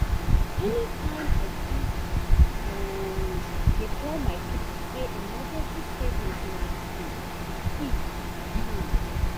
anytime i fit i um dey tell my people say emergency savings na um key. um